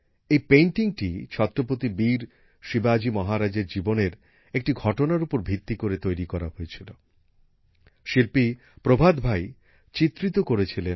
এই পেইন্টিংটি ছত্রপতি বীর শিবাজি মহারাজের জীবনের একটি ঘটনার উপর ভিত্তি করে তৈরি করা হয়েছিল